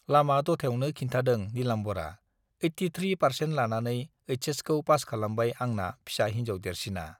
लामा दथायावनो खिन्थादों नीलाम्बरआ, एइटि थ्रि पार्चेन्ट लानानै एइचएसखौ पास खालामबाय आंना फिसा हिन्जाव देरसिना।